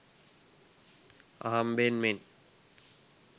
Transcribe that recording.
අහම්බෙන් මෙන්